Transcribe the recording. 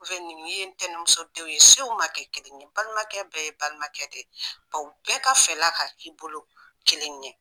nin ye ntɛnɛnmusodenw ye sew ma kɛ kelen ye, balimakɛ bɛɛ ye balimakɛ de ye, ka u bɛɛ ka fɛla ta ka k'i bolo kelen ye